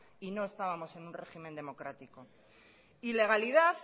y no estábamos en un régimen democrático ilegalidad